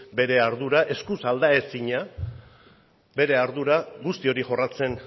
bere ardura eskuz aldaezina bere ardura guzti hori jorratzen